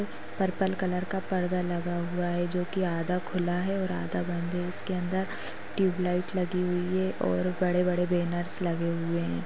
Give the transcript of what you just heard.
Purple colour का पर्दा लगा हुआ है जोकि आधा खुला है और आधा बंद है उसके अंदर ट्यूबलाइट लगी हुई है और बड़े बड़े बैनर्स लगे हुए है।